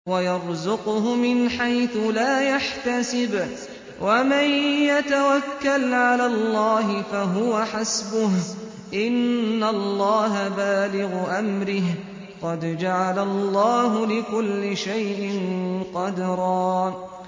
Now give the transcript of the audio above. وَيَرْزُقْهُ مِنْ حَيْثُ لَا يَحْتَسِبُ ۚ وَمَن يَتَوَكَّلْ عَلَى اللَّهِ فَهُوَ حَسْبُهُ ۚ إِنَّ اللَّهَ بَالِغُ أَمْرِهِ ۚ قَدْ جَعَلَ اللَّهُ لِكُلِّ شَيْءٍ قَدْرًا